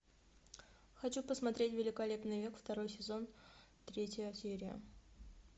хочу посмотреть великолепный век второй сезон третья серия